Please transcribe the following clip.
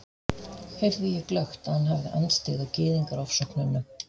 heyrði ég glöggt, að hann hafði andstyggð á Gyðingaofsóknunum.